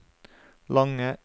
lange